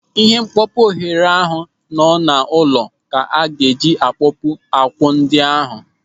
Ịhe mkpopu oghere ahụ nọ n'ụlọ ka a ga-eji akpopu akwụ ndị ahụ.